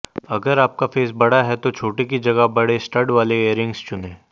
अगर आपका फेस बड़ा है तो छोटे की जगह बड़े स्टड वाले ईयररिंग्स चुनें